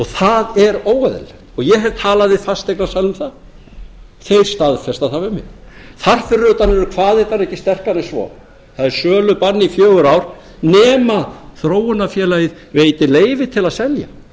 það er óeðlilegt ég hef talað við fasteignasala um það þeir staðfesta það við mig þar fyrir utan eru kvaðirnar ekki sterkari en svo það er sölubann í fjögur ár nema að þróunarfélagið veiti leyfi til að selja